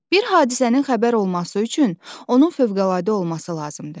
Bir hadisənin xəbər olması üçün onun fövqəladə olması lazımdır.